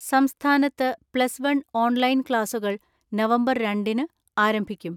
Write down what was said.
സംസ്ഥാനത്ത് plus one online ക്ലാസുകൾ November രണ്ടിന് ആരംഭിക്കും.